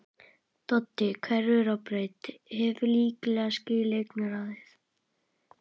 Doddi hverfur á braut, hefur líklega skilið augnaráðið.